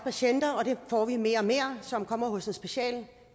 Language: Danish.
patienter og det får vi mere og mere som kommer hos en speciallæge